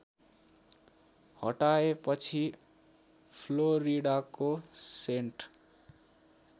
हटाएपछि फ्लोरिडाको सेन्ट